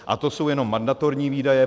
A to jsou jenom mandatorní výdaje.